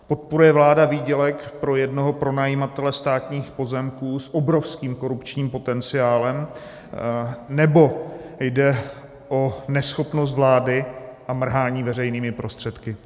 Podporuje vláda výdělek pro jednoho pronajímatele státních pozemků s obrovským korupčním potenciálem, nebo jde o neschopnost vlády a mrhání veřejnými prostředky?